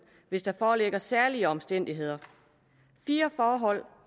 hvis der foreligger særlige omstændigheder fire forhold